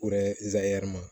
O yɛrɛ ma